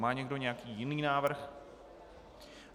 Má někdo nějaký jiný návrh?